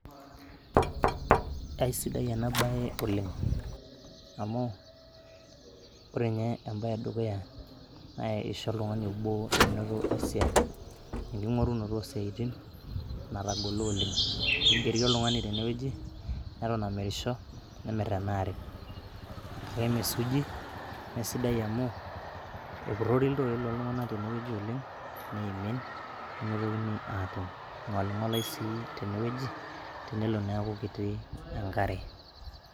aisidai ena baye oleng amu ore nye embaye edukuya nae isho oltung'ani obo menoto esiai, enking'orunoto osiaitin natagolo oleng kigeri oltung'ani tenewueji neton amirisho nemirr ena are kake mee suuji meesidai amu epurrori iltoi loltung'anak tenewueji oleng neimin nemitokini atum, ing'oling'olae sii tenewueji tenelo neeku kiti enkare.